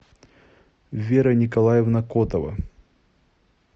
вера николаевна котова